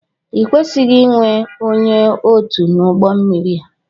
i kwesịghị inwe ónyé ọtu n'ugbó mmiri a!!!